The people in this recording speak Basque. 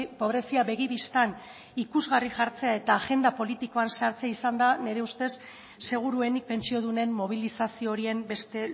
pobrezia begi bistan ikusgarri jartzea eta agenda politikoan sartzea izan da nire ustez seguruenik pentsiodunen mobilizazio horien beste